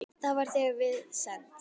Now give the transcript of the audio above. Það var þegar við send